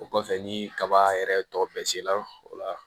O kɔfɛ ni kaba yɛrɛ tɔgɔ bɛ se la o la